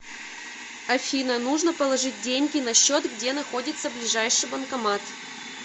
афина нужно положить деньги на счет где находится ближайший банкомат